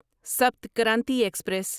Sapt Kranti express